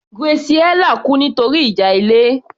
Graciela kú nítorí ìjà ilé